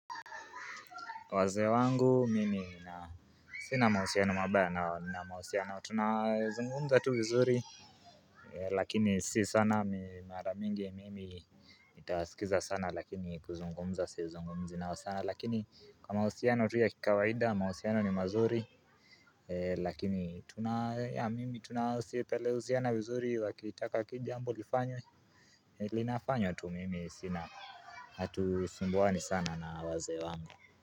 Wazee wangu mimi na sina mahusiano mabaya na mahusiano tunazungumza tu wuzuri Lakini si sana mi maramingi mimi nitawasikiza sana lakini kuzungumza si zungumzi nao sana lakini kwa mahusiano tu ya kikawaida mahusiano ni mazuri Lakini tuna yah mimi tunasipeluziana vizuri wakitaka kijambo nifanye Linafanywa tu mimi sina hatusumbuani sana na wazee wangu.